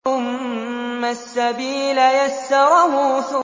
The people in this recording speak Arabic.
ثُمَّ السَّبِيلَ يَسَّرَهُ